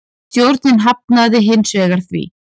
Stjórnin hafnaði hins vegar því.